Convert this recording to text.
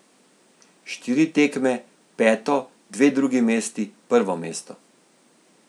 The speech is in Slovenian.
Štiri tekme, peto, dve drugi mesti, prvo mesto.